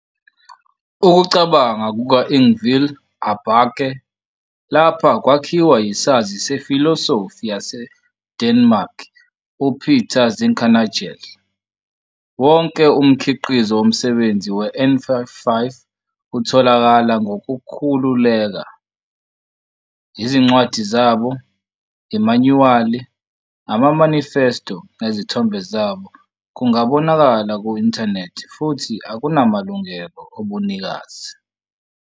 Ukucabanga kuka-Ingvil Aarbakke lapha kwakhiwa yisazi sefilosofi saseDenmark uPeter Zinkernagel. Wonke umkhiqizo womsebenzi weN55 utholakala ngokukhululeka, izincwadi zabo, imanyuwali, ama-manifesto nezithombe zabo kungabonakala ku-inthanethi futhi akunamalungelo obunikazi.